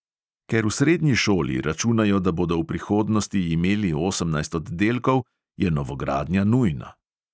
Ker v srednji šoli računajo, da bodo v prihodnosti imeli osemnajst oddelkov, je novogradnja nujna.